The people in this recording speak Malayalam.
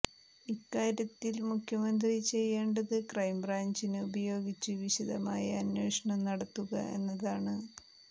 ഇക്കാര്യത്തിൽ മുഖ്യമന്ത്രി ചെയ്യേണ്ടത് ക്രൈംബ്രാഞ്ചിനെ ഉപയോഗിച്ച് വിശദമായ അന്വേഷണം നടത്തുക എന്നതാണ്